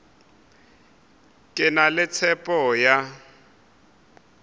ke na le tshepo ya